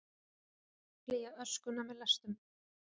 Flýja öskuna með lestum